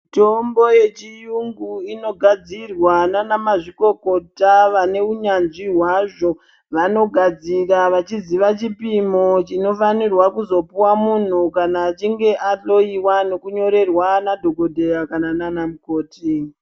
Mitombo ye chiyungu ino gadzirwa nana mazvikokota vane unyanzvi hwazvo vano gadzira vachi ziva chipimo chino fanirwa kuzo puhwa munhu kana achinge a hloyiwa neku nyorerwa na dhokodheya kana na mukoti.